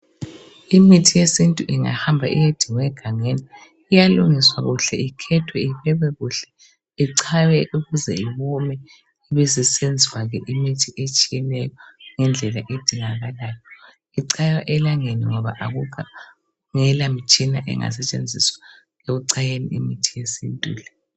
Imithi yesintu ingahamba iyedingwa egangeni iyalungiswa kuhle ikhethwe iphekwe kuhle ichaywe ukuze iwome besisenziwa ke imithi etshiyeneyo ngendlela edingakalayo ichaywa elangeni ngoba kungelamtshina engasetshenziswa ukuchaya imithi yesintu le.